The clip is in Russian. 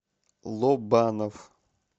лобанов